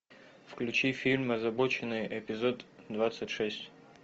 включи фильм озабоченные эпизод двадцать шесть